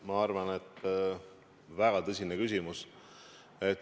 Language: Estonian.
Ma arvan, et see on väga tõsine küsimus.